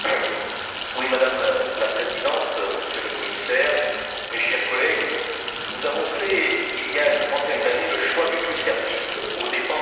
Madame la Présidente, Monsieur le Commissaire, chers collègues, nous avons fait, il y a une trentaine d'années, le choix du tout services aux dépens de l'industrie.